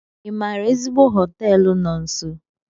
Ị maara ezigbo họteelu no nso?